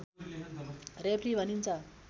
referee भनिन्छ